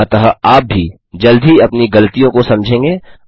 अतः आप भी जल्द ही अपनी गलतियों को समझेंगे